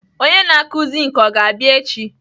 Onye na-akụ zink ọ ga-abịa echi?